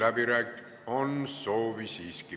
Siiski on soovi.